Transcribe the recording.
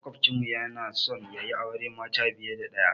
Maƙwafcin mu yana so yayi auren mata fiye da ɗaya.